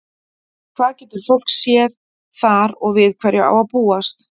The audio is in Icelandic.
Hvað getur fólk séð þar og við hverju á að búast?